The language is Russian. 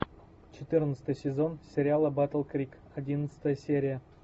четырнадцатый сезон сериала батл крик одиннадцатая серия